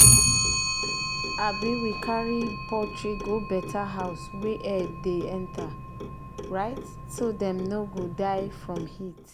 um we carry poultry go better house wey air dey enter um so dem no um go die from heat.